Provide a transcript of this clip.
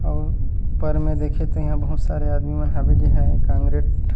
अउ ऊपर में देखत हे बहुत सारे आदमी मन हावे जे हा कंग्रेट--